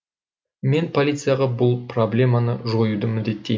мен полицияға бұл проблеманы жоюды міндеттеймін